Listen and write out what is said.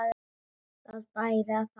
Það bæri að þakka.